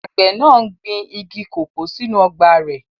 Àgbẹ̀ náà n gbin igi kòkó sínú ọgbà rẹ̀